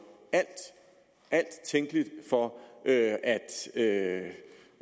alt tænkeligt for at